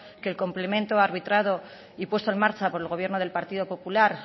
que el complemento arbitrado y puesto en marcha por el gobierno del partido popular